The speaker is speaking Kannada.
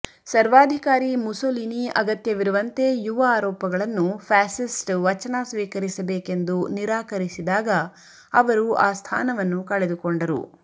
ಸರ್ವಾಧಿಕಾರಿ ಮುಸೊಲಿನಿ ಅಗತ್ಯವಿರುವಂತೆ ಯುವ ಆರೋಪಗಳನ್ನು ಫ್ಯಾಸಿಸ್ಟ್ ವಚನ ಸ್ವೀಕರಿಸಬೇಕೆಂದು ನಿರಾಕರಿಸಿದಾಗ ಅವರು ಆ ಸ್ಥಾನವನ್ನು ಕಳೆದುಕೊಂಡರು